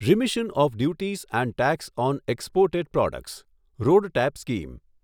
remission of duties and tax on exported products RoDTEP scheme